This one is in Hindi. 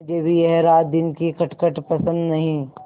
मुझे भी यह रातदिन की खटखट पसंद नहीं